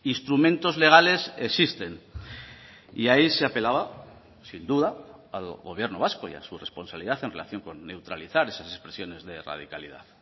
instrumentos legales existen y ahí se apelaba sin duda al gobierno vasco y a su responsabilidad en relación con neutralizar esas expresiones de radicalidad